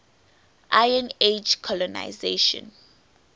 iron age colonisation